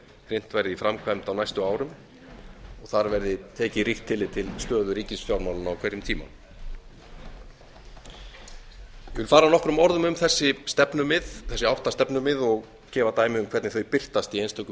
hrint verði í framkvæmd á næstu árum og þar verði tekið ríkt tillit til stöðu ríkisfjármálanna á hverjum tíma ég vil fara nokkrum orðum um þessi stefnumið þessi átta stefnumið og gefa dæmi um hvernig þau birtast í einstökum